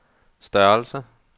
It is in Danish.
størrelse